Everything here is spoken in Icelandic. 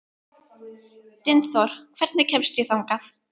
Dynþór, hvernig kemst ég þangað?